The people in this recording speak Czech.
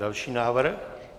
Další návrh.